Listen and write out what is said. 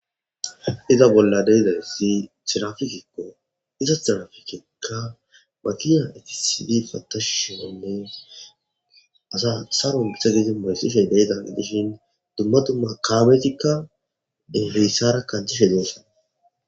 iza bolla de'izayssi tirafikikko iza tirafikeykka matiya etisidi patashushionnes asa saro bisagisi moresishey deytan dishin dumma du ma kaabetikka haysara kathishe dosona